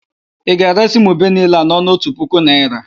Ị ga-eresị m ube niile a n'ọnụ otu puku naịra?